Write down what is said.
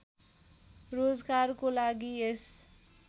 रोजगारको लागि यस